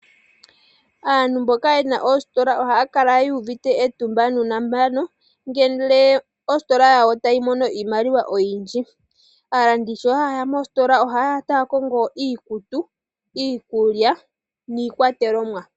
Aantu mboka ye na oositola ohaya kala yu uvite etumba nuunambano ngele ositola yawo tayi mono iimaliwa oyindji. Aalandi sho haye ya mositola ohaye ya taa kongo iikutu, iikulya niikwatelomwa.